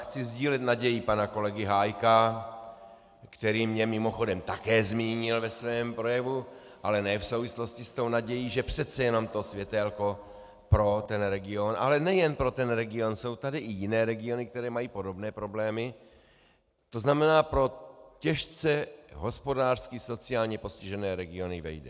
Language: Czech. Chci sdílet naději pana kolegy Hájka, který mě mimochodem také zmínil ve svém projevu, ale ne v souvislosti s tou nadějí, že přece jenom to světélko pro ten region, ale nejen pro ten region, jsou tady i jiné regiony, které mají podobné problémy, to znamená pro těžce hospodářsky, sociálně postižené regiony, vejde.